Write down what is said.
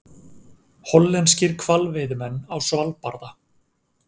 Hollenskir hvalveiðimenn á Svalbarða.